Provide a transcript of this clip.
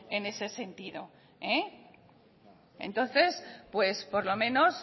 en ese sentido entonces pues por lo menos